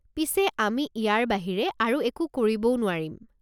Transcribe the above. পিছে আমি ইয়াৰ বাহিৰে আৰু একো কৰিবও নোৱাৰিম।